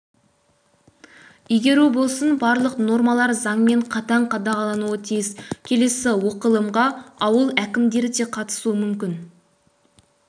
игеру болсын барлық нормалар заңмен қатаң қадағалануы тиіс келесі оқылымға ауыл әкімдері де қатысуы мүмкін